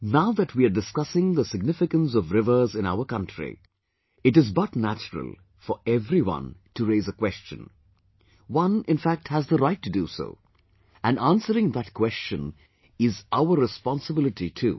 now that we are discussing the significance of rivers in our country, it is but natural for everyone to raise a question...one, in fact, has the right to do so...and answering that question is our responsibility too